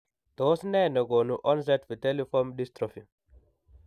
Tos nee negonu onset vitelliform dystrophy ?